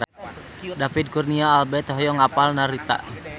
David Kurnia Albert hoyong apal Narita